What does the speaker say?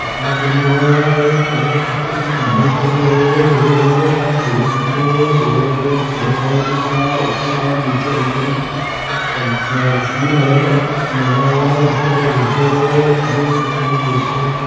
कपड़ा पहना हुआ है और वह झुकके कुछ नमन कर रहे है दो लोग के पास बैग दिख रहे है भेगवा कलर ग्रे कलर दिख रहा है उसके बाद नीचे उनके एक कुछ पन आसमानी कलर का कुछ डला हुआ है जिस के ऊपर वो बैठे हुए है आगे कुछ लोग बैठे हुए है ।